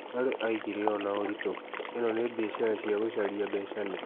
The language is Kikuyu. Larry oigire ũũ na ũritũ: "ĩno nĩ biacara cia ya gũcaria mbecani"?